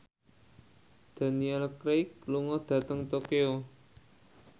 Daniel Craig lunga dhateng Tokyo